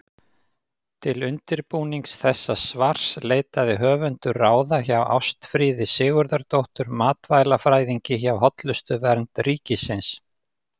Til undirbúnings þessa svars leitaði höfundur ráða hjá Ástfríði Sigurðardóttur matvælafræðingi hjá Hollustuvernd ríkisins.